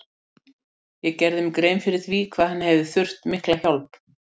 Ég gerði mér grein fyrir því hvað hann hefði þurft mikla hjálp.